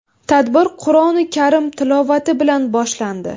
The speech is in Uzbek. Tadbir Qur’oni karim tilovati bilan boshlandi.